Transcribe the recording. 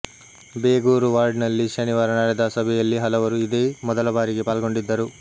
ಬೇಗೂರು ವಾರ್ಡ್ನಲ್ಲಿ ಶನಿವಾರ ನಡೆದ ಸಭೆಯಲ್ಲಿ ಹಲವರು ಇದೇ ಮೊದಲ ಬಾರಿಗೆ ಪಾಲ್ಗೊಂಡಿದ್ದರು